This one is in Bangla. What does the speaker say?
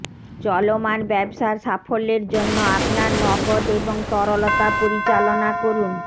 চলমান ব্যবসা সাফল্যের জন্য আপনার নগদ এবং তরলতা পরিচালনা করুন